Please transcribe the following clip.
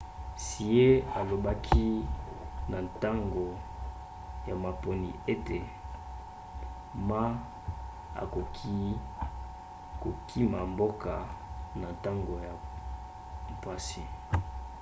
hsieh alobaki na ntango ya maponi ete ma akoki kokima mboka na ntango ya mpasi